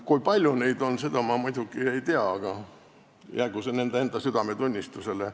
Kui palju neid on, seda ma muidugi ei tea, aga jäägu see nende enda südametunnistusele.